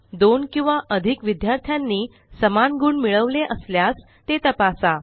दोन किंवा अधिक विद्यार्थ्यांनी समान गुण मिळवले असल्यास ते तपासा